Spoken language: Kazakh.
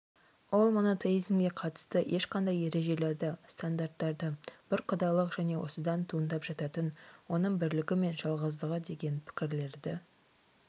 ол монотеизмге қатысты ешқандай ережелерді стандарттарды бір құдайлық және осыдан туындап жататын оның бірлігі мен жалғыздығы деген пікірлерді